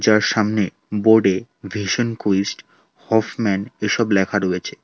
তার সামনে বোর্ডে ভিশন কুইস্ট হফমেন এসব লেখা রয়েছে।